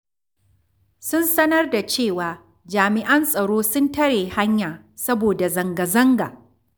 Sun sanar da cewa jami'an tsaro sun tare hanya saboda zanga-zanga.